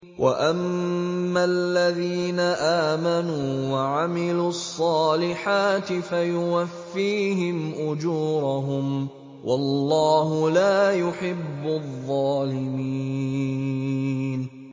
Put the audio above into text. وَأَمَّا الَّذِينَ آمَنُوا وَعَمِلُوا الصَّالِحَاتِ فَيُوَفِّيهِمْ أُجُورَهُمْ ۗ وَاللَّهُ لَا يُحِبُّ الظَّالِمِينَ